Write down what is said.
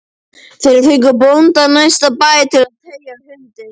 Þeir fengu bónda af næsta bæ til að teygja hundinn